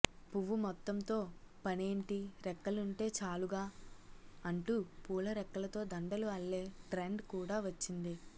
పువ్వు మొత్తంతో పనేంటి రెక్కలుంటే చాలుగా అంటూ పూలరెక్కలతో దండలు అల్లే ట్రెండ్ కూడా వచ్చింది